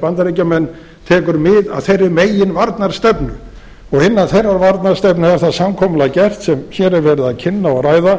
bandaríkjamenn tekur mið af þeirri meginvarnarstefnu og innan þeirrar varnarstefnu er það samkomulag gert sem hér er verið að kynna og ræða